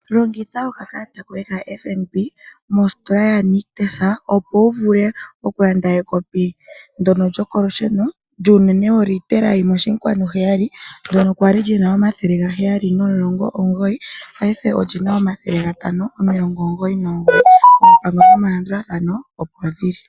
Longitha okakalata koye kaFNB mositola yaNictus okulanda ekopi ndyoka lyokolusheno lyuunene wolitela yimwe oshinkwanu heyali. Okwa li na oondola dhaNamibia omathele gaheyali nomulongo nomugoyi , paife olina omathele gatano nomilongo omugoyi nomugoyi. Oompango nomalandulathano odhina okulandulwa.